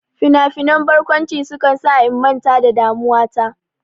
Finafinan barkwanci sukan sa in manta da damuwa ta.